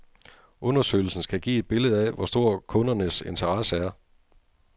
Undersøgelsen skal give et billede af, hvor stor kundernes interesse er.